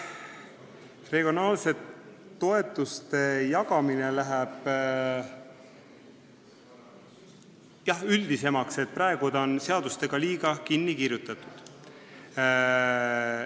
Regionaalsete toetuste jagamine läheb jah üldisemaks, praegu on see seadustega liiga kinni kirjutatud.